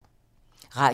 Radio 4